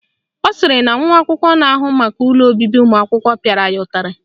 Ọ sịrị na nwa akwụkwọ na-ahụ maka ụlọ obibi ụmụakwụkwọ pịara ya ụtarị